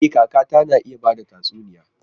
E! kakata na iya ba da tatsuniyoyi.